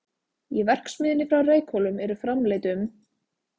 Í verksmiðjunni á Reykhólum eru framleidd um